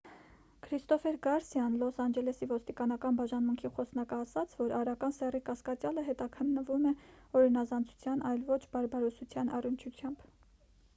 քրիստոֆեր գարսիան լոս անջելեսի ոստիկանական բաժանմունքի խոսնակը ասաց որ արական սեռի կասկածյալը հետաքննվում է օրինազանցության այլ ոչ բարբարոսության առնչությամբ